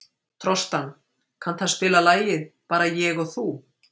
Trostan, kanntu að spila lagið „Bara ég og þú“?